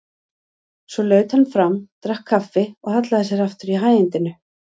Svo laut hann fram, drakk kaffi og hallaði sér aftur í hægindinu.